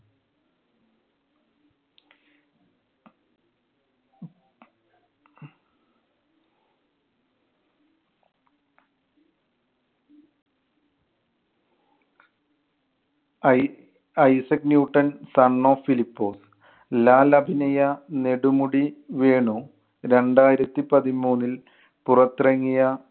I~ Isaac Newton son of ഫിലിപ്പോ. ലാൽ അഭിനയ നെടുമുടി വേണു രണ്ടായിരത്തി പതിമൂന്നിൽ പുറത്തിറങ്ങിയ